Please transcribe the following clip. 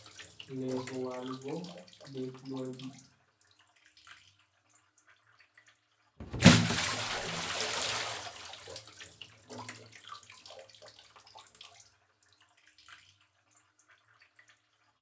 Leeso walugo be piloji.